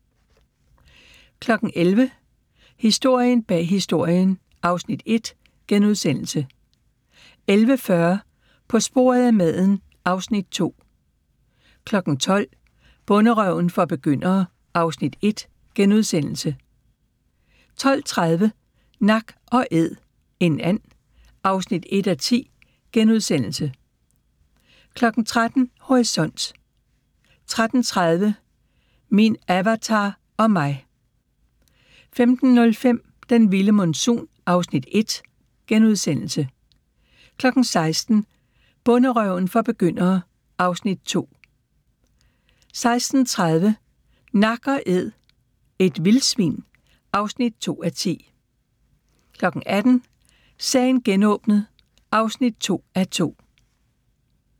11:00: Historien bag Historien (Afs. 1)* 11:40: På sporet af maden (Afs. 2) 12:00: Bonderøven for begyndere (Afs. 1)* 12:30: Nak & æd - en and (1:10)* 13:00: Horisont 13:30: Min Avatar og Mig 15:05: Den vilde monsun (Afs. 1)* 16:00: Bonderøven for begyndere (Afs. 2) 16:30: Nak & æd – et vildsvin (2:10) 18:00: Sagen genåbnet (2:2)